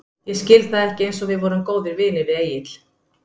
Ég skil það ekki einsog við vorum góðir vinir við Egill.